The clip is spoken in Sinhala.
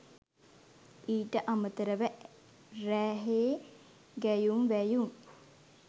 ඊට අමතරව රැහේ ගැයුම් වැයුම්